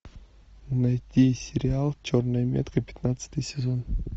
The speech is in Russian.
найти сериал черная метка пятнадцатый сезон